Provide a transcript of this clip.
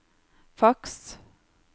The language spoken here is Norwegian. faks